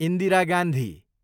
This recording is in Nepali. इन्दिरा गान्धी